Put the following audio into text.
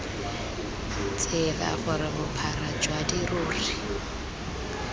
tsela gore bophara jwa dirori